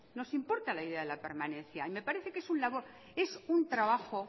nos importa la idea de la permanencia y me parece que es un trabajo